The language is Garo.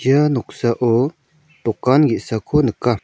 ia noksao dokan ge·sako nika.